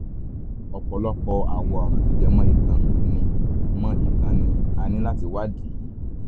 ọ̀pọ̀lọpọ̀ àwọn ọ̀ràn tó jẹ mọ́ ìtàn ni mọ́ ìtàn ni a ní láti wádìí